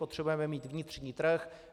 Potřebujeme mít vnitřní trh.